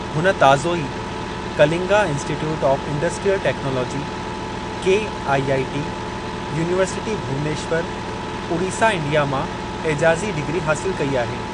हुन ताज़ो ई Kalinga Institute of Industrial Technology (KIIT) University Bhubaneswar Odisha India मां एजाज़ी डिग्री हासिलु कई आहे।